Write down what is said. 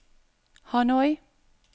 Hanoi